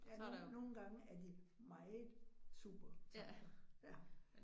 Ja nogle nogle gange er de meget supertanker, ja